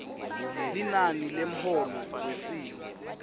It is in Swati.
linani lemholo wesimo